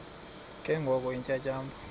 ke ngoko iintyatyambo